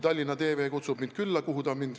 Tallinna TV on mind külla kutsunud.